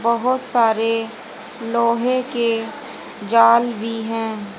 बहोत सारे लोहे के जाल भी हैं।